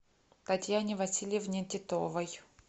татьяне васильевне титовой